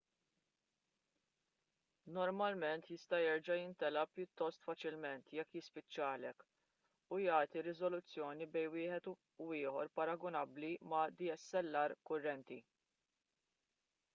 normalment jista' jerġa' jimtela pjuttost faċilment jekk jispiċċalek u jagħti riżoluzzjoni bejn wieħed u ieħor paragunabbli ma' dslr kurrenti